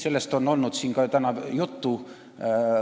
Sellest on olnud siin ka täna juttu.